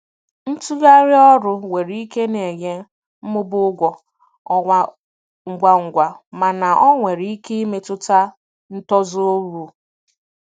Ntugharị ọrụ nwere ike na-enye mmụba ụgwọ ọnwa ngwa ngwa mana ọ nwere ike imetụta ntozu uru.